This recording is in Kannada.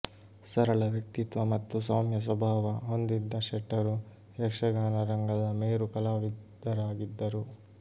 ಸರಳ ವ್ಯಕ್ತಿತ್ವ ಮತ್ತು ಸೌಮ್ಯ ಸ್ವಭಾವ ಹೊಂದಿದ್ದ ಶೆಟ್ಟರು ಯಕ್ಷಗಾನ ರಂಗದ ಮೇರು ಕಲಾವಿದರಾಗಿದ್ದರು